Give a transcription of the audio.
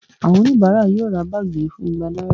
Àwọn oníbàárà yóò ra báàgì yìí fún igba náírà